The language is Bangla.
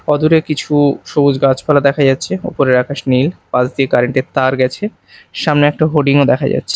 অদূরে কিছু সবুজ গাছপালা দেখা যাচ্ছে ওপরের আকাশ নীল পাশ দিয়ে কারেন্ট -এর তার গেছে সামনে একটা হোর্ডিং -ও দেখা যাচ্ছে।